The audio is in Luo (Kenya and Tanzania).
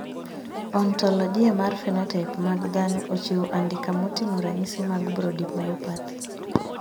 Ontologia mar phenotype mag dhano ochiwo andika moting`o ranyisi mag Brody myopathy.